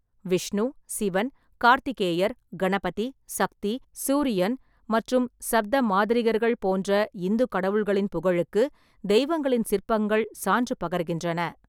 விஷ்ணு, சிவன், கார்த்திகேயர், கணபதி, சக்தி, சூரியன் மற்றும் சப்த மாதரிகர்கள் போன்ற இந்து கடவுள்களின் புகழுக்கு தெய்வங்களின் சிற்பங்கள் சான்று பகர்கின்றன.